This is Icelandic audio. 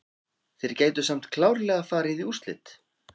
Þeir gætu samt klárlega farið í úrslit.